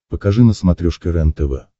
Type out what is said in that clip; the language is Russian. покажи на смотрешке рентв